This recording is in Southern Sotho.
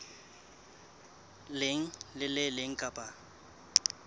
leng le le leng kapa